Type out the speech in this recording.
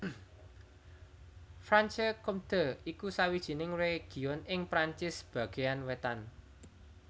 Franche Comté iku sawijining région ing Perancis bagéan wétan